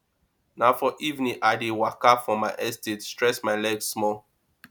na for evening i dey waka for my estate stretch my leg small